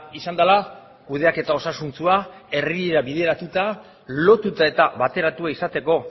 izan dela kudeaketa osasuntsua herrira bideratuta lotuta eta bateratua izateko